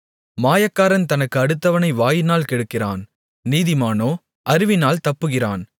மாயக்காரன் தனக்கு அடுத்தவனை வாயினால் கெடுக்கிறான் நீதிமானோ அறிவினால் தப்புகிறான்